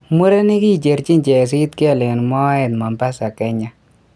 Murenik kicherchin chesitgel eng moet Mombasa, kenya